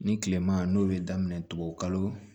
Ni kilema n'o bɛ daminɛ tugunni